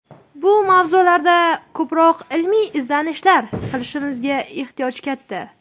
Bu mavzularda ko‘proq ilmiy izlanishlar qilishimizga ehtiyoj katta.